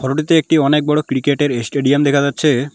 Photo -তে একটি অনেক বড় ক্রিকেট -এর এস্টেডিয়াম দেখা যাচ্ছে।